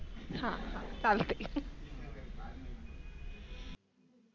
हा हा चालतंय.